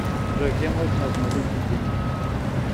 джой где можно обналичить деньги